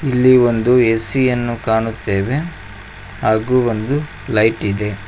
ಇಲ್ಲಿ ಒಂದು ಎ_ಸಿ ಯನ್ನು ಕಾಣುತ್ತೇವೆ ಹಾಗು ಒಂದು ಲೈಟ್ ಇದೆ.